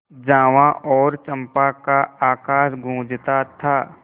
जावा और चंपा का आकाश गँूजता था